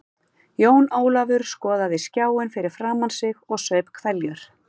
Jón Ólafur skoðaði skjáinn fyrir framan sig og saup hveljur.